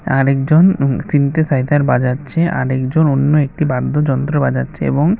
আরেকজন উহু তিনটি বাজাচ্ছে আরেকজন অন্য একটি বাদ্যযন্ত্র বাজাচ্ছে এবং--